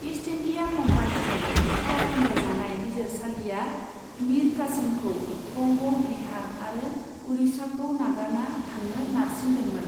East India कम्पानिजों फाव फानदाइजानाय बिजिरसालिया मिर कासिमखौ बंग', बिहार आरो उरिछाखौ नागारना थांनो नारसिनदोंमोन।